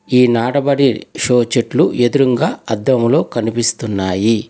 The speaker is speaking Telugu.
ఈ నాటబడి షో చెట్లు ఎదురుంగా అద్దంలో కనిపిస్తున్నాయి.